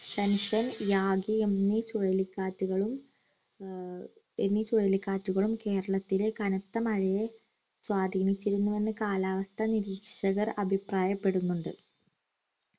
ഷൻഷ്രൻ Yagi എന്നീ ചുഴലി കാറ്റ്കളും ആഹ് എന്നീ ചുഴലി കാറ്റ്കളും കേരളത്തിലെ കനത്ത മഴയെ സ്വാധീനിച്ചിരുന്നു വന്നു കാലാവസ്ഥാ നിരീക്ഷകർ അഭിപ്രായപെടുന്നുണ്ട്